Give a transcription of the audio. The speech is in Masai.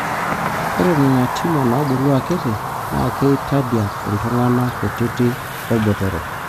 ore ena na tumor nabulu akiti na kitadiak iltungana kutiti olbotoro.